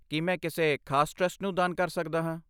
ਕੀ ਮੈਂ ਕਿਸੇ ਖਾਸ ਟਰਸਟ ਨੂੰ ਦਾਨ ਕਰ ਸਕਦਾ ਹਾਂ?